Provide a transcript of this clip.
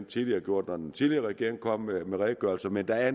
tidligere gjort når den tidligere regering kom med redegørelser men der er